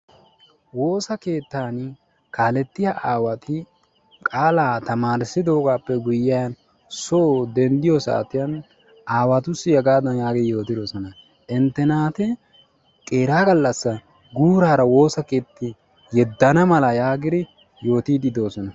Woossa keettaani kaalettiya aawati qaalaa tamaarissidoogaappe guyiyan soo denddiyo saatiyan aawatussi hegaadan yaagidi yootidosona. Inte naati qeeraa gallassi guurara woossa keetti yedana mala yaagidi yootiidi de'oosona.